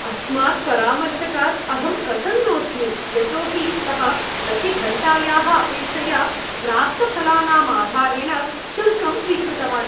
अस्मात् परामर्शकात् अहं प्रसन्नोऽस्मि, यतो हि सः प्रतिघण्टायाः अपेक्षया प्राप्तफलानाम् आधारेण शुल्कं स्वीकृतवान्।